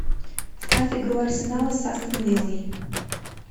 ставь игру арсенала с астон виллой